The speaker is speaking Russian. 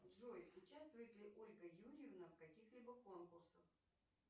джой участвует ли ольга юрьевна в каких либо конкурсах